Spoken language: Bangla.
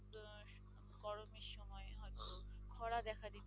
খরা দেখা দিবে,